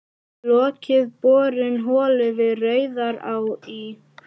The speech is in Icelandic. Lokið borun holu við Rauðará í